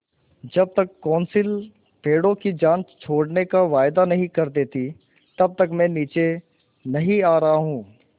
जब तक कौंसिल पेड़ों की जान छोड़ने का वायदा नहीं कर देती तब तक मैं नीचे नहीं आ रहा हूँ